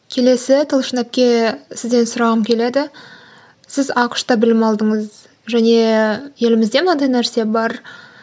келесі талшын әпке сізден сұрағым келеді сіз ақш та білім алдыңыз және елімізде мынадай нәрсе бар